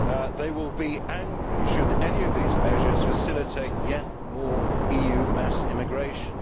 They will be angry should any of these measures facilitate yet more EU mass immigration.